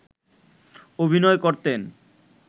অভিনয় করতেন